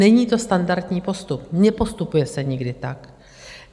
Není to standardní postup, nepostupuje se nikdy tak.